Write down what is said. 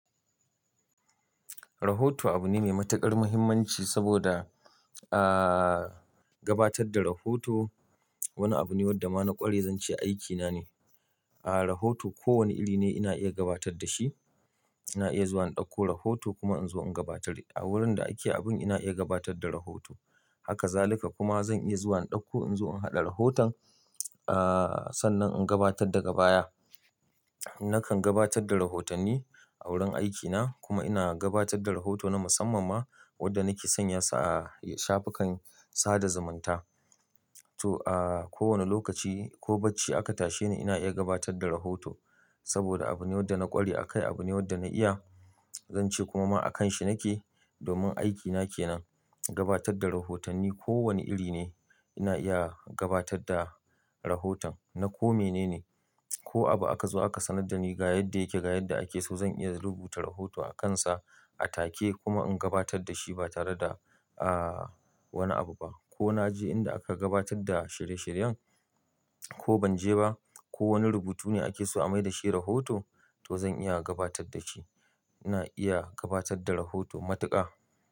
Rahoto abu ne mai matuƙar muhimmanci saboda, aaah, gabatar da rahoto wani abu ne wadda ma na ƙware zan ce aiki nane. Aaa, rahoto kowane iri ne ina iya gabatar da shi. Ina iya zuwa in ɗauko rahoto kuma in zo in gabatar. A wurin da ake abun ina iya gabatar da rahoto. Haka zalika kuma zan iya zuwa in ɗauko in zo in haɗa rahoton, aaah, sannan in gabatar daga baya. Nakan gabatar da rahotanni a wurin aikina kuma ina gabatadda rahoto na musamman ma wadda nake sanya sa a shafukan sada zumunta. To, aaah, kowane lokaci ko bacci aka tashe ni ina iya gabatar da rahoto. Saboda abu ne wadda na ƙware akai, abu ne wadda na iya, zan ce kuma ma a kanshi nake. Domin aikina kenan gabatadda rahotanni. Ko wane iri ne ina iya gabatadda rahoton. Na ko mene ne. Ko abu aka zo aka sanar da ni ga yadda yake ga yadda ake so zan iya rubuta rahoto a kansa a take kuma in gabatar da shi ba tare da, aaah, wani abu ba. Ko na je inda aka gabatadda shirye-shiryen ko ban je ba, ko wani rubutu ne ake so a mai da shi rahoto to zan iya gabataddashi. Ina iya gabatar da rahoto matuƙa.